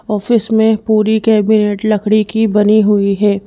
Office में पूरी cabinet लकड़ी की बनी हुई है।